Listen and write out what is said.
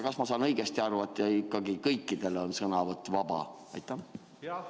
Kas ma saan õigesti aru, et ikkagi kõikidel on sõnavõtus õigus vabale arvamusele?